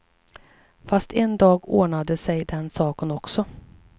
Fast en dag ordnade sig den saken också.